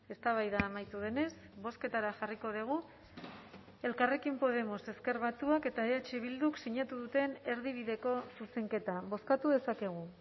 eztabaida amaitu denez bozketara jarriko dugu elkarrekin podemos ezker batuak eta eh bilduk sinatu duten erdibideko zuzenketa bozkatu dezakegu